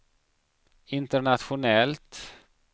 internationellt